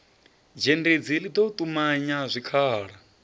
dzhendedzi ḽi ḓo ṱumanya zwikhala